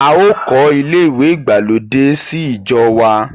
A ò kọ́ ilé ìwẹ̀ ìgbàlódé sí ìjọ wa.